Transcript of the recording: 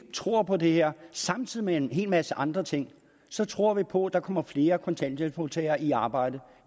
vi tror på det her samtidig med en hel masse andre ting så tror vi på der kommer flere kontanthjælpsmodtagere i arbejde